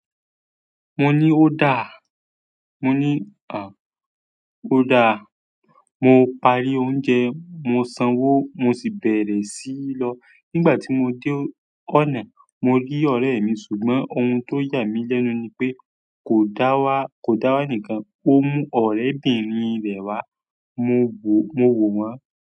Mo ní ó dáá, mo ní à, ó dáá. Mo parí oúnjẹ, mo sanwó mo sì bẹ̀rẹ̀ sí lọ. Nígbà tí mo dé ọ̀nà, mo rí ọ̀rẹ́ mi ṣùgbọ́n ohun tó yà mí lẹ́nu ni pé kò dá wá, kò dá wá nìkan, ó mú ọ̀rẹ́bìnrin rẹ̀ wá. Mo wò, mo wò wọ́n.